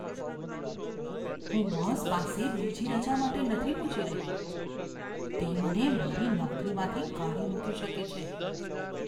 હું બોસ પાસે બીજી રજા માટે નથી પૂછી રહ્યો. તે મને મારી નોકરીમાંથી કાઢી મૂકી શકે છે.